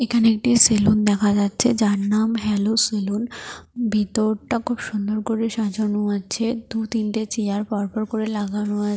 এখানে একটি সেলুন দেখা যাচ্ছে যার নাম হেলো সেলুন । ভেতরটা খুব সুন্দর করে সাজানো আছে। দু তিনটে চেয়ার পরপর করে লাগানো আ--